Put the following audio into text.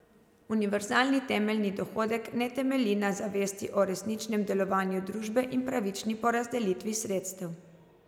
Univerzalni temeljni dohodek ne temelji na zavesti o resničnem delovanju družbe in pravični porazdelitvi sredstev.